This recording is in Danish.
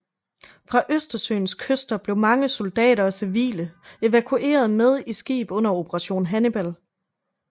Fra Østersøens kyster blev mange soldater og civile evakueret med i skib under Operation Hannibal